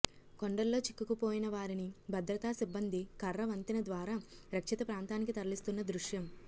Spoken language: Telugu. కొండల్లో చిక్కుకుపోయిన వారిని భద్రతా సిబ్బంది కర్ర వంతెన ద్వారా రక్షిత ప్రాంతానికి తరలిస్తున్న దృశ్యం